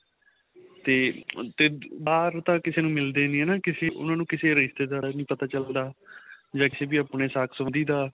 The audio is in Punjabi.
ਤੇ ਤੇ ਬਾਹਰ ਤਾਂ ਕਿਸੇ ਨੂੰ ਮਿਲਦੇ ਨੀਂ ਹਨਾ ਕਿਸੇ ਉਹਨਾ ਨੂੰ ਕਿਸੇ ਰਿਸ਼ਤੇਦਾਰ ਦਾ ਨੀਂ ਪਤਾ ਚੱਲਦਾ ਜਾਂ ਕਿਸੇ ਆਪਣੇ ਸਾਥ ਸਬੰਧੀ ਦਾ